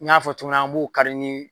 N y'a fɔ cogo min an b'o kari